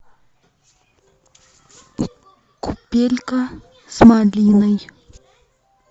купелька с малиной